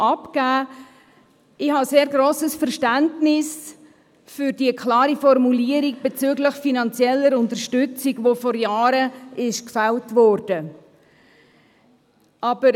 Ich habe sehr grosses Verständnis für die klare Formulierung bezüglich finanzieller Unterstützung, die vor Jahren beschlossen worden ist.